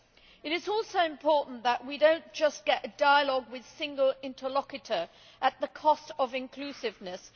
It is also important that we do not just get a dialogue with a single interlocutor at the cost of inclusiveness.